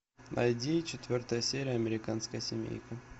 найди четвертая серия американская семейка